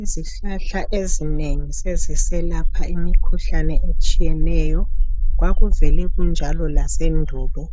Izihlahla ezinengi seziselapha imikhuhlane etshiyeneyo kwakuvele kunjalo lasendulo